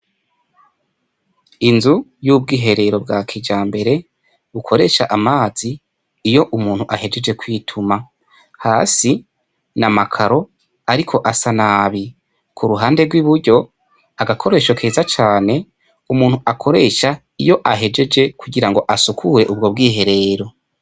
Inzu yubwiherero bwa kijambere bukoresha amazi iyo umuntu ahejeje kwituma hasi n'amakaro ariko asa nabi kuruhande rwiburyo agakoresho keza cane umuntu akoresha iyo ahejeje kugirango asukure ubwo bwiherero.